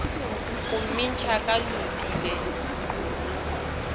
go mmintšha ka leoto le